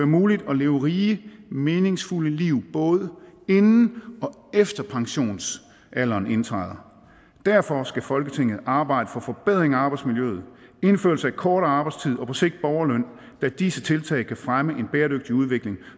muligt at leve rige meningsfulde liv både inden og efter pensionsalderen indtræder derfor skal folketinget arbejde for forbedring af arbejdsmiljøet indførelse af kortere arbejdstid og på sigt borgerløn da disse tiltag kan fremme en bæredygtig udvikling